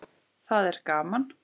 Það er gaman.